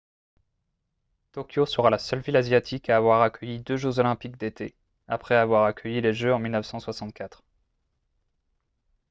tokyo sera la seule ville asiatique à avoir accueilli deux jeux olympiques d'été après avoir accueilli les jeux en 1964